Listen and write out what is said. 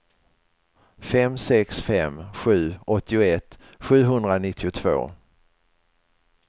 fem sex fem sju åttioett sjuhundranittiotvå